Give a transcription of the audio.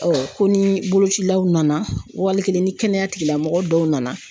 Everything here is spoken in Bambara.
ko ni bolocilaw nana ,wali kelen ni kɛnɛya tigilamɔgɔw nana.